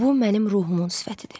Bu mənim ruhumun sifətidir.